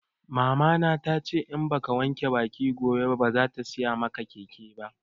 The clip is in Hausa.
Mama na tace in baka wanke baki gobe ba bazata siya maka keke ba